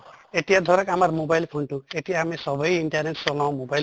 এতিয়া ধৰক আমাৰ mobile phone তো, এতিয়া আমি চবেই internet চলাও mobile